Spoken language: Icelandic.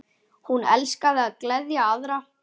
Hún elskaði að gleðja aðra.